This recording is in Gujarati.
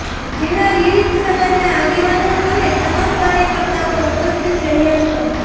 જેમાં વિવિધ સમાજના આગેવાનો અને તમામ કાર્યકર્તાઓ ઉપસ્થિત રહ્યાં હતાં